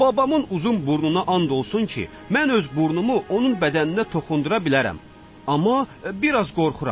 Babamın uzun burnuna and olsun ki, mən öz burnumu onun bədəninə toxundura bilərəm, amma bir az qorxuram.